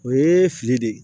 O ye fili de ye